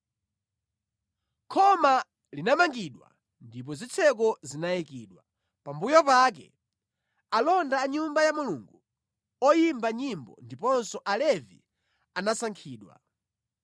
Khoma linamangidwa ndipo zitseko zinayikidwa. Pambuyo pake alonda a Nyumba ya Mulungu, oyimba nyimbo ndiponso Alevi anasankhidwa.